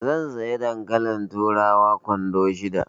Zan saya dankalin turawa kwando shida.